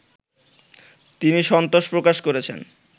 তিনি সন্তোষ প্রকাশ করেছেন